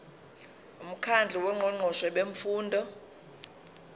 umkhandlu wongqongqoshe bemfundo